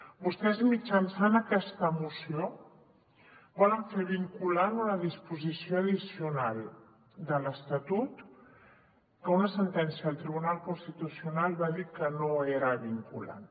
vostès mitjançant aquesta moció volen fer vinculant una disposició addicional de l’estatut que una sentència del tribunal constitucional va dir que no era vinculant